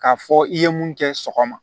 K'a fɔ i ye mun kɛ sɔgɔma